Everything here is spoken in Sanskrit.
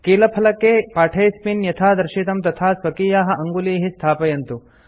कीलफलके पाठेऽस्मिन् यथा दर्शितं तथा स्वकीयाः अङ्गुलीः स्थापयन्तु